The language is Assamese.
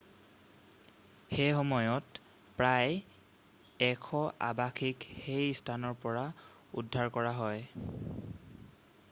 সেইসময়ত প্ৰায় 100 আবাসীক সেই স্থানৰ পৰা উদ্ধাৰ কৰা হয়